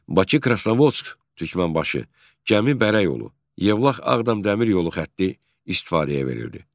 Bakı, Krasnovodsk, Türkmənbaşı, Cəmi Bərə yolu, Yevlax Ağdam Dəmir yolu xətti istifadəyə verildi.